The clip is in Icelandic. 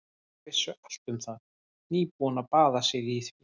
Þau vissu allt um það, nýbúin að baða sig í því.